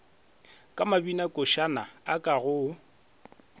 ka mabinakošana a ka go